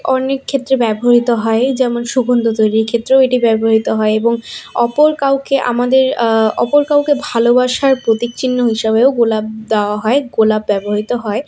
অনেক ক্ষেত্রে ব্যবহৃত হয় যেমন- এই সুগন্ধ তৈরির ক্ষেত্রেও এটি ব্যবহৃত হয় এবং অপর কাউকে আমাদের আঃ অপর কাউকে ভালোবাসার প্রতীক চিহ্ন হিসেবেও গোলাপ দেওয়া হয় গোলাপ ব্যবহৃত হয়।